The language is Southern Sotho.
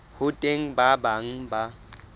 ho teng ba bang ba